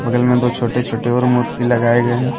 बगल मैं दो छोटे-छोटे और मूर्ति लगाए गए हैं।